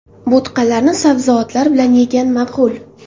Bo‘tqalarni sabzavotlar bilan yegan ma’qul.